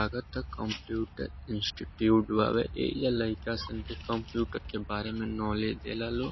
लागता computer institute बा ए या लइका सन कंप्यूटर के बारे मे नॉलेज ले ला लो।